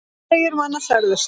Tugir manna særðust.